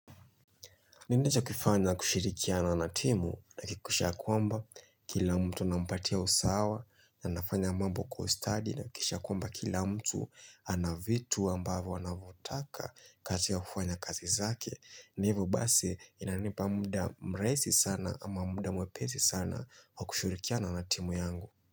Ninachokifanya kushirikiana na timu na nahakikisha ya kwamba kila mtu nampatia usawa na nafanya mambo kwa ustadi na kisha kwamba kila mtu ana vitu ambavyo wanavyotaka kati ya kufanya kazi zake na hivyo basi inanipa rahisi sana ama mwepesi sana wa kushirikiana na timu yangu.